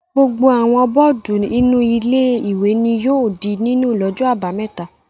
Gbogbo àwọn bọ́ọ́dù inú ilé-ìwé ni yóò di nínú lọ́jọ́ àbámẹ́ta.